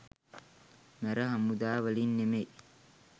මැර හමුදා වලින් නෙමෙයි